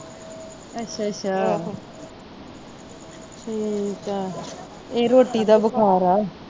ਅੱਛਾ ਅੱਛਾ ਠੀਕ ਆ ਇਹ ਰੋਟੀ ਦਾ ਬੁਖਾਰ ਆ।